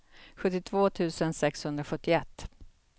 sjuttiotvå tusen sexhundrasjuttioett